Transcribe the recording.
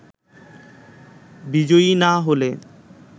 বিজয়ী না হলে